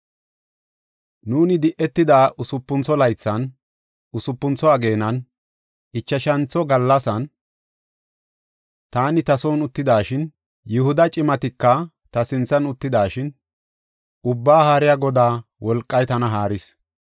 Nuuni di7etida usupuntho laythan, usupuntho ageenan, ichashantho gallasan, taani ta son uttidashin, Yihuda cimatika ta sinthan uttidashin, Ubbaa Haariya Godaa wolqay tana haaris.